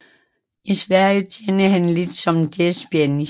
I Sverige tjente han lidt som jazzpianist